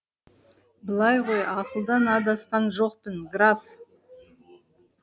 былай ғой ақылдан адасқан жоқпын граф